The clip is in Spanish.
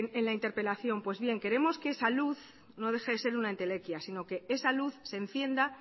en la interpelación pues bien queremos que esa luz no deje de ser una entelequia sino que esa luz se encienda